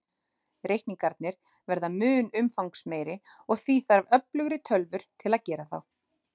Reikningarnir verða mun umfangsmeiri, og því þarf öflugri tölvur til að gera þá.